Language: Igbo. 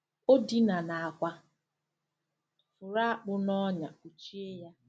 Ọ dina n'àkwà, fụrụ akpụ na ọnya kpuchie ya.